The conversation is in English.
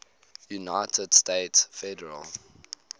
united states federal